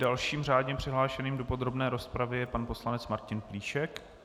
Dalším řádně přihlášeným do podrobné rozpravy je pan poslanec Martin Plíšek.